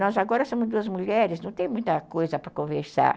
Nós agora somos duas mulheres, não tem muita coisa para conversar.